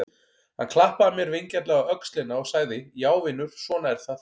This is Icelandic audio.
Hann klappaði mér vingjarnlega á öxlina og sagði: Já vinur, svona er það.